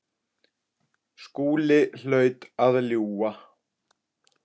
Skúli hlaut að ljúga.